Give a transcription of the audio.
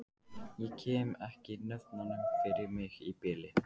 Ég kem ekki nöfnunum fyrir mig í bili.